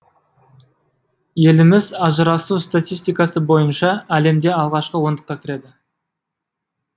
еліміз ажырасу статистикасы бойынша әлемде алғашқы ондыққа кіреді